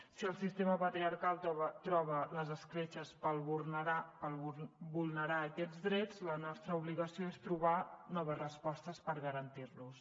si el sistema patriarcal troba les escletxes per vulnerar aquests drets la nostra obligació és trobar noves respostes per garantir los